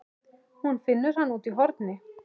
Hún finnur hana úti í horni.